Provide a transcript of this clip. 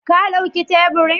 Ka dauki teburin?